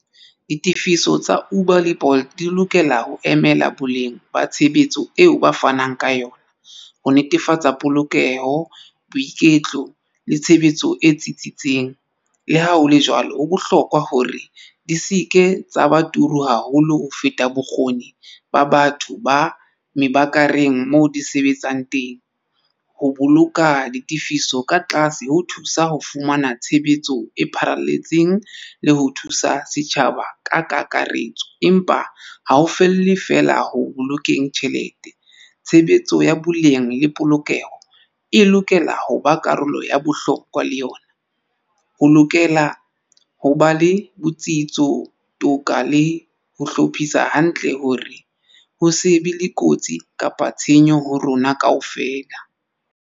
Ditefiso tsa Uber le Bolt di lokela ho emela boleng ba tshebetso eo ba fanang ka yona ho netefatsa polokeho, boiketlo le tshebetso e tsitsitseng. Le ha hole jwalo ho bohlokwa hore di se ke tsa ba turu haholo ho feta bokgoni ba batho ba meewerk kareng moo di sebetsang teng ho boloka ditifiso ka tlase ho thusa ho fumana tshebetso e pharalletseng le ho thusa setjhaba ka kakaretso. Empa ha o felle feela ho bolokeng tjhelete tshebetso ya boleng le polokeho e lokela ho ba karolo ya bohlokwa le yona ho lokela ho ba le botsitso toka le ho hlophisa hantle hore ho se be le kotsi kapa tshenyo ho rona kaofela.